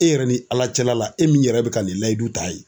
E yɛrɛ ni ALA cɛla la e min yɛrɛ bɛ ka nin layidu ta ye